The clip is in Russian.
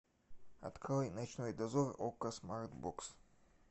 открой ночной дозор окко смарт бокс